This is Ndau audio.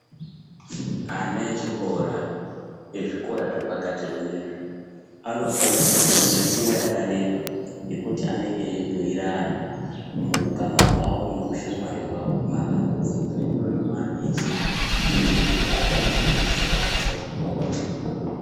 Ana echikora ezvikora zvepakati zvinezvi anofa ire kuva nenguva yakareba yekutu anenge eyibhuyirana muukama wavo mubushamwari wavo matambudziko nezviro zvinovanetsa kuiitira kuti awone kubetserana.